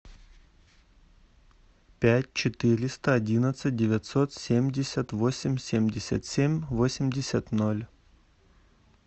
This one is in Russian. пять четыреста одиннадцать девятьсот семьдесят восемь семьдесят семь восемьдесят ноль